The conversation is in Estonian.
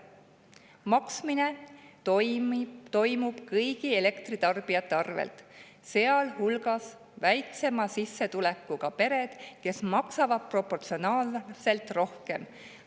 Maksmine toimub kõigi elektritarbijate arvelt, sealhulgas väiksema sissetulekuga pered, kes maksavad proportsionaalselt rohkem.